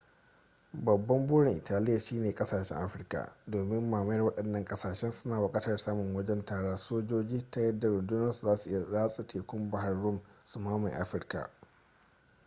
babban burin italiya shine kasashen afirka domin mamayar waɗannan ƙasashen suna buƙatar samun wajen tara sojoji ta yadda rundunoninsu zasu iya ratsa tekun bahr rum su mamaye afirka